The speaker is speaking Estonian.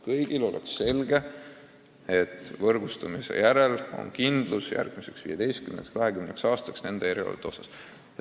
Kõigile peab asi selge olema, vaid siis on ka võrgustumise järel järgmiseks 15–20 aastaks konkreetsete erialade osas kindlus.